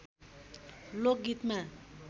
लोक गीतमा